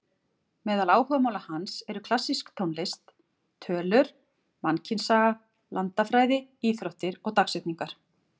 Meðal áhugamála hans eru klassísk tónlist, tölur, mannkynssaga, landafræði, íþróttir og dagsetningar.